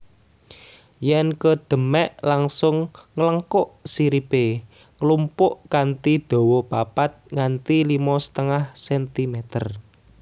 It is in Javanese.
Yèn kedemèk langsung nglengkuk siripé nglumpuk kanthi dawa papat nganti limo setengah centimeter